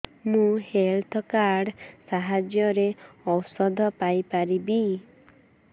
ମୁଁ health card ସାହାଯ୍ୟରେ ଔଷଧ ପାଇ ପାରିବି